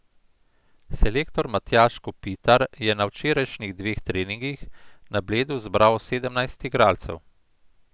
Selektor Matjaž Kopitar je na včerajšnjih dveh treningih na Bledu zbral sedemnajst igralcev.